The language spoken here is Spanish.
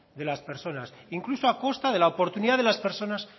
de las personas incluso a costa de la oportunidad de las personas